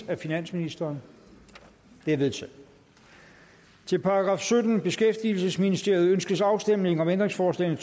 af finansministeren det er vedtaget til § syttende beskæftigelsesministeriet ønskes afstemning om ændringsforslag